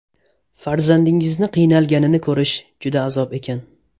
Farzandingizni qiynalganini ko‘rish juda azob ekan.